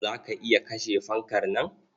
Za ka iya kashe fankar nan?